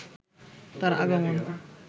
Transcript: তার আগমন